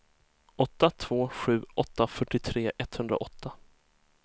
åtta två sju åtta fyrtiotre etthundraåtta